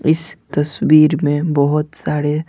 इस तस्वीर में बहुत सारे--